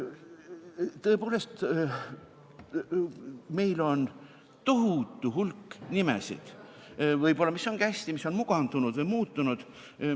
Tõepoolest, meil on tohutu hulk nimesid – nii võib-olla ongi hästi –, mis on mugandunud või muutunud.